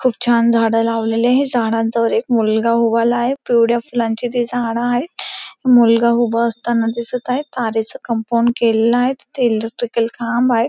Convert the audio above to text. खूप छान झाडं लावलेली आहे झाडांजवळ एक मुलगा उभारला आहे पिवडया फुलांची ती झाडं आहे मुलगा उभा असताना दिसत आहे तारेच कंपाउंड केलेलं तिथे इलेक्ट्रिकल खांब आहे.